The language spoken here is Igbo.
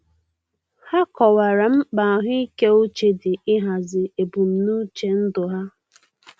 Ha kọwara mkpa ahụike uche di n'ihazi ebumnuche ndụ ha.